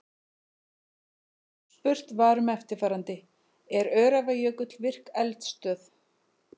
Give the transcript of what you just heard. Spurt var um eftirfarandi: Er Öræfajökull virk eldstöð?